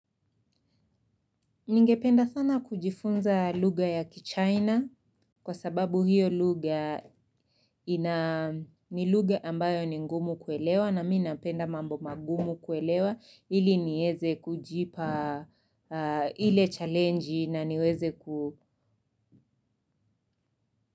Ningependa sana kujifunza lugha ya kichaina kwa sababu hiyo lugha ni lugha ambayo ni ngumu kuelewa na mi napenda mambo magumu kuelewa ili nieze kujipa ile challenji na niweze ku.